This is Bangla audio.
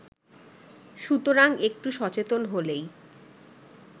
সুতরাং একটু সচেতন হলেই